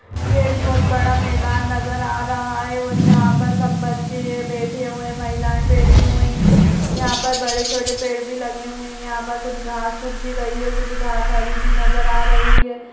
ये एक बहोत बड़ा मैदान नजर आ रहा है और यहाँ पर सब बच्चे बैठे हुए हैं महिलाएँ बैठी हुई हैं यहाँ पर बड़े-छोटे पेड़ भी लगे हुए हैं यहाँ पर कुछ घास उग भी गई है और कुछ घास हरी भी नजर आ रही है।